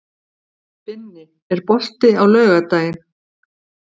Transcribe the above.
Binni, er bolti á laugardaginn?